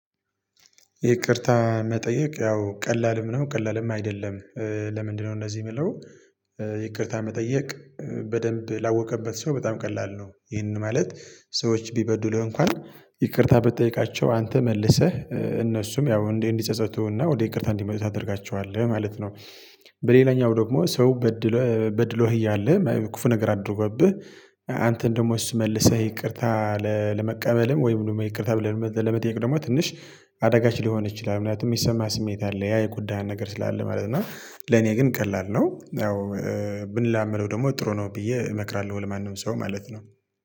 ይቅርታ መጠየቅ ያው ቀላልም ነው ቀላልም አይደለም? ለምንድነው እነዚህ የሚለው ይቅርታ መጠየቅ በደንብ ላወቀበት ሰው በጣም ቀላል ነው። ይሄንን ማለት ሰዎች ቢበዱልህ እንኳን ይቅርታ ብትጠይቃቸው አንተ መልሰህ እነሱም ያው እንዲህ እንዲጸጸቱና ወደ ይቅርታ እንዲመለሱ ታደርጋቸዋለህ ማለት ነው። በሌላኛው ደግሞ ሰው በድሎ በድሎህ እያለ ክፉ ነገር አድርጎብህ አንተን ደግሞ እሱ መልሰህ ይቅርታ ለመቀበልም ወይም ደግሞ ይቅርታ ብለህ ለመጠየቅ ደግሞ ትንሽ አደጋች ሊሆን ይችላል። ምክንያቱም የሚሰማህ ስሜት አለ ያ የጎዳህ ነገር ስላለ ማለት ነው። እና ለኔ ግን ቀላል ነው ያው ብንለማመደው ደግሞ ጥሩ ነው ብዬ እመክራለሁ። ለማንም ሰው ማለት ነው